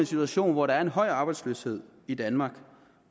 situation hvor der er en høj arbejdsløshed i danmark